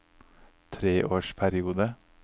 treårsperiode